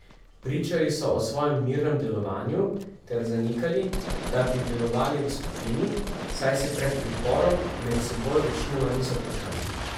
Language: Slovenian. Pričali so o svojem mirnem delovanju ter zanikali, da bi delovali v skupini, saj se pred priporom med seboj večinoma niso poznali.